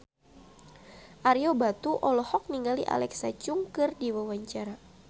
Ario Batu olohok ningali Alexa Chung keur diwawancara